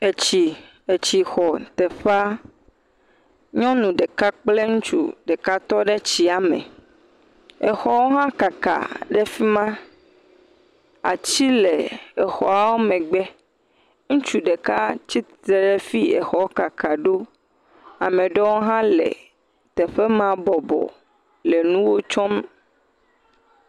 Etsi xɔ teƒea, nyɔnu ɖeka kple ŋutsu ɖeka aɖe tɔɖe tsia me. Exɔwo hã kaka le fima, atiwo hã le exɔ megbe. Ŋutsu ɖe tsitre ɖe afisi exɔa kaka ɖo. Ame ɖewo hã le teƒe bɔbɔ nu tsom.